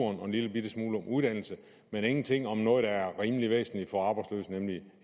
og en lillebitte smule om uddannelse men ingenting om noget der er rimelig væsentligt for arbejdsløse nemlig